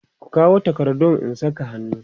ku kawo takardun ku in Saka hannu!